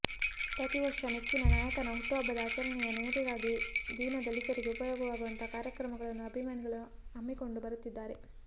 ಪ್ರತಿವರ್ಷ ನೆಚ್ಚಿನ ನಾಯಕನ ಹುಟ್ಟುಹಬ್ಬದ ಆಚರಣೆಯ ನೆನಪಿಗಾಗಿ ದೀನ ದಲಿತರಿಗೆ ಉಪಯೋಗವಾಗುವಂತಹ ಕಾರ್ಯಕ್ರಮಗಳನ್ನು ಅಭಿಮಾನಿಗಳು ಹಮ್ಮಿಕೊಂಡು ಬರುತ್ತಿದ್ದಾರೆ